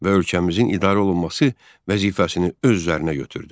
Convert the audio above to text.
Və ölkəmizin idarə olunması vəzifəsini öz üzərinə götürdü.